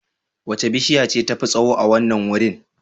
Wace bishiya ce tafi tsawo a wannan wurin?